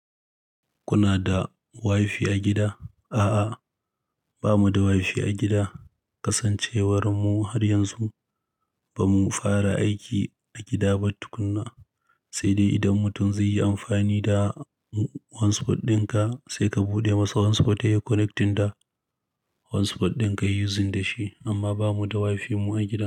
Kuna da waifi a gida? A'a, ba mu da wifi a gida. Kasancewar mu har yanzu ba mu fara aiki a gida ba tukunna, sai dai idan mutum zai yi amfani da hotspot dinka sai ka buɗe masa hotspot yayi connecting da hotspot dinka yayi using da shi, amma ba mu da wifi mu a gida.